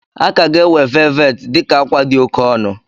A ka ga-ewe velvet dị ka akwa dị oke ọnụ.